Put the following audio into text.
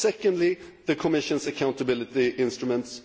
secondly, the Commission's accountability instruments